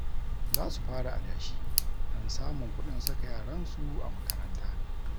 Za su fara adashi don samun kuɗin saka yaransu a makaranta